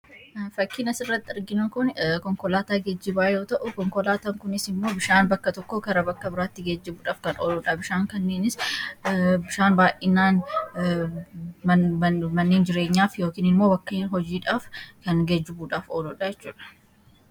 Fakkiin asirratti arginu Kun, konkolaataa geejibaa yoo ta'u, konkolaataan kunis immoo bishaan bakka tokkoo gara biraatti geejibuudhaaf kan ooludha. Bishaan kanneenis bishaan baayyinaan manneen jireenyaaf yookiin immoo bakkeewwan hojiidhaaf kan geejibuudhaaf ooludha jechuudha.